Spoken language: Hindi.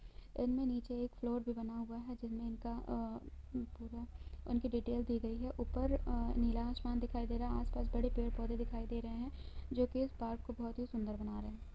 इनमे नीचे एक फ्लोर भी बना हुआ है जिनमे इनका अं पूरा उनकी डीटेल दी गई हे ऊपर अ नीला आसमान दिखाई दे रहा है आस -पास बड़े पेड़ -पौधे दिखाई दे रहे है जो कि इस पार्क को बोहोत ही सुंदर बना रहे है।